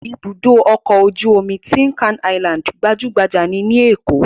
Ibùdó-ọkọ̀ ojú-omi Tin Can Island gbajú-gbajà ní Èkó.